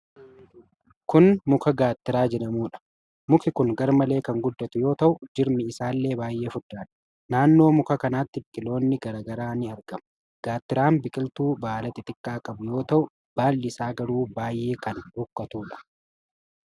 Kun muka Gaattiraa jedhamuudha. Muki kun garmalee kan guddatu yoo ta'u, jirmi isaallee baay'ee furdaadha. Naannoo muka kanaatti biqiloonni garaa garaa ni argamu. Gaattiraan biqiltuu baala xixiqqaa qabu yoo ta'u, baallii isaa garuu baay'ee kan rukkatuudha.